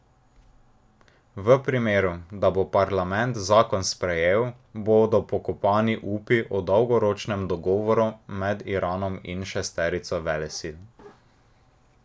V primeru, da bo parlament zakon sprejel, bodo pokopani upi o dolgoročnem dogovoru med Iranom in šesterico velesil.